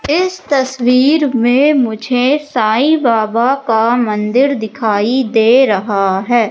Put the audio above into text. इस तस्वीर में मुझे साईं बाबा का मंदिर दिखाई दे रहा है।